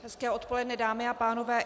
Hezké odpoledne dámy a pánové.